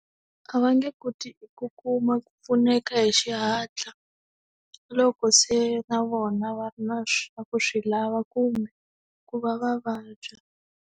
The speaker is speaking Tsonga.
A va nge koti ku kuma ku pfuneka hi xihatla loko se na vona va ri na ku swi lava kumbe ku va va vabya.